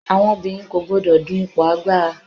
àwọn obìnrin kò gbodò dun ipo agbara